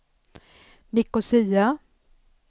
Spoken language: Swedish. Nicosia